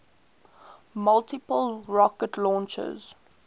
multiple rocket launchers